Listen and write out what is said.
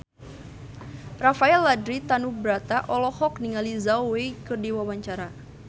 Rafael Landry Tanubrata olohok ningali Zhao Wei keur diwawancara